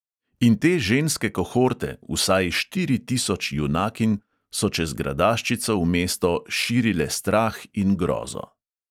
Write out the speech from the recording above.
In te ženske kohorte – "vsaj štiri tisoč junakinj" – so čez gradaščico v mesto "širile strah in grozo".